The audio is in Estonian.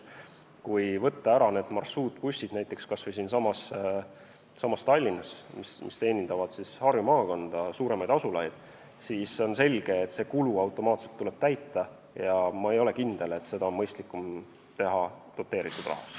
Kui võtta ära need marsruutbussid, näiteks kas või siinsamas Tallinnas, mis teenindavad Harju maakonda, suuremaid asulaid, siis on selge, et see kulu tuleb automaatselt täita ja ma ei ole kindel, et seda on mõistlikum teha doteeritud rahast.